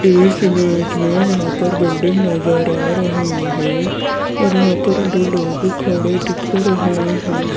इस इमेज में यहां पर बिल्डिंग नजर आ रही है और यहां पर दो लोग खड़े दिख रहे हैं।